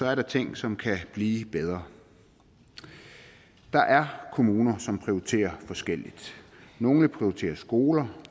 er der ting som kan blive bedre der er kommuner som prioriterer forskelligt nogle vil prioritere skoler